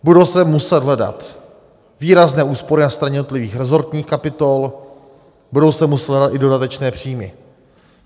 Budou se muset hledat výrazné úspory na straně jednotlivých resortních kapitol, budou se muset hledat i dodatečné příjmy.